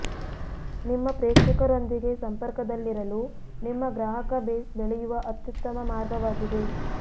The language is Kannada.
ನಿಮ್ಮ ಪ್ರೇಕ್ಷಕರೊಂದಿಗೆ ಸಂಪರ್ಕದಲ್ಲಿರಲು ನಿಮ್ಮ ಗ್ರಾಹಕ ಬೇಸ್ ಬೆಳೆಯುವ ಅತ್ಯುತ್ತಮ ಮಾರ್ಗವಾಗಿದೆ